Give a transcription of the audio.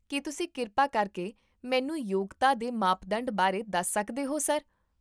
ਕੀ ਤੁਸੀਂ ਕਿਰਪਾ ਕਰਕੇ ਮੈਨੂੰ ਯੋਗਤਾ ਦੇ ਮਾਪਦੰਡ ਬਾਰੇ ਦੱਸ ਸਕਦੇ ਹੋ, ਸਰ?